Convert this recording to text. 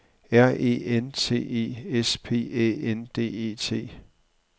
R E N T E S P Æ N D E T